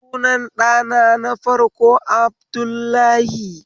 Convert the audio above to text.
Sunan ɗana na farko Abdullahi